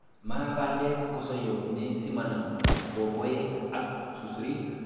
Maa bandek kosoyo komie simanam bobek ak susurik.